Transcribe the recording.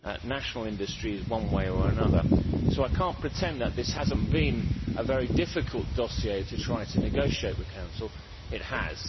national industries one way or another, so I cannot pretend that this has not been a very difficult dossier to try to negotiate with the Council it has.